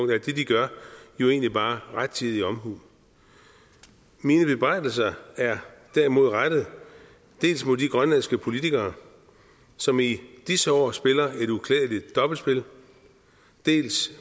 det de gør jo egentlig bare rettidig omhu mine bebrejdelser er derimod rettet dels mod de grønlandske politikere som i disse år spiller et uklædeligt dobbeltspil dels